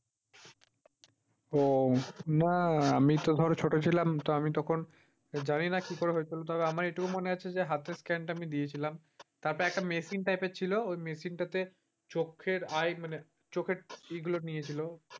ও না আমি তো ধর ছোট ছিলাম তো আমি তখন, জানিনা কি করে হয়েছিল? তবে আমার এইটুকু মনে আছে যে হতের scan টা আমি দিয়েছিলাম। তারপরে একটা machine type এর ছিল ওই machine টাতে চোখের আই মানে চোখের ইয়েগুলো নিয়েছিল।